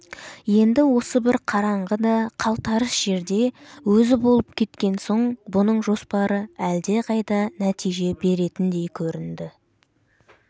енді осы бір қараңғы да қалтарыс жерде өзі болып кеткен соң бұның жоспары әлдеқайда нәтиже беретіндей көрінді